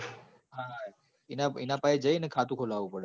ઇના પાહી જઈ ણ ખાતું ખોલું પડે